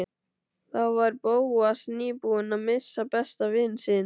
Þá var Bóas nýbúinn að missa besta vin sinn.